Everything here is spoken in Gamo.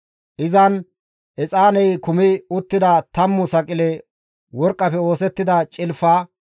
Izan exaaney kumi uttida 10 saqile worqqafe oosettida cilfa.